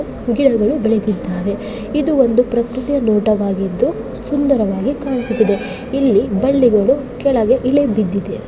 ಗಿಡಗಳು ಬೆಳೆದಿದ್ದಾವೆ ಇದು ಒಂದು ಪ್ರಕೃತಿಯ ನೋಟ ವಾಗಿದ್ದು ಸುಂದರವಾಗಿ ಕಾಣಿಸುತ್ತಿದೆ ಇಲ್ಲಿ ಬಳ್ಳಿಗಳು ಕೆಳಗೆ ಇಳಿಬಿದ್ದಿದೆ.